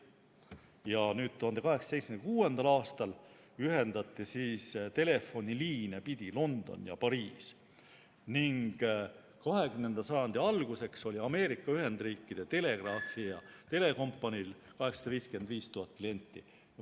Aastal 1876. ühendati telefoniliine pidi London ja Pariis ning 20. sajandi alguseks oli Ameerika Ühendriikide telegraafi- ja telekompaniil 855 000 klienti.